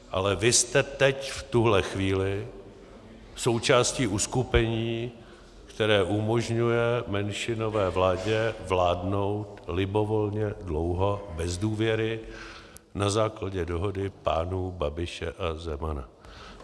Ale vy jste teď v tuhle chvíli součástí uskupení, které umožňuje menšinové vládě vládnout libovolně dlouho bez důvěry na základě dohody pánů Babiše a Zemana.